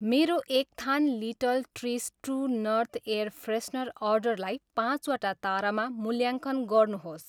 मेरो एक थान little trees true north air freshener अर्डरलाई पाँच वटा तारामा मूल्याङ्कन गर्नुहोस्